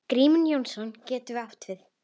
Grímur Jónsson getur átt við